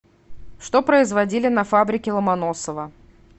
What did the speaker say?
что производили на фабрике ломоносова